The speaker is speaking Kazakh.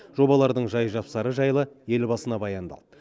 жобалардың жай жапсыры жайлы елбасына баяндалды